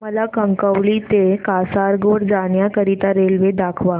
मला कणकवली ते कासारगोड जाण्या करीता रेल्वे दाखवा